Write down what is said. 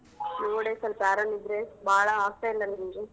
ನೋಡೆ ಸೊಲ್ಪ ಆರಾಮಿದ್ರೆ ಬಾಳಾ ಆಗ್ತಾ ಇಲ್ಲ ನಂಗೆ.